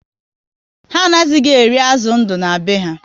Ha anaghị eri azụ ndụ na be ha